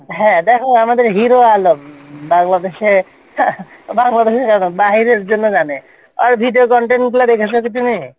হ্যাঁ দেখো আমাদের hero আলম বাংলাদেশে বাহিরের জন ও জানে ওর video content গুলা দেখেসো কি তুমি?